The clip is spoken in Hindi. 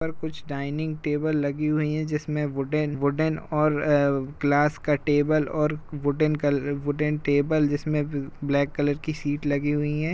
यहाँ कुछ डाइनिंग टेबल लगी हुई है वुडन वुडन ग्लास का टेबल और वुडन वुडन टेबल जिसमे ब्लैक कलर की सीट लगी हुई हैं।